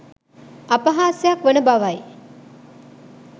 අපහාසයක් වන බවයි